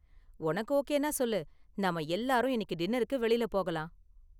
உனக்கு ஓகேனா சொல்லு, நாம எல்லாரும் இன்னிக்கு டின்னருக்கு வெளில போகலாம்.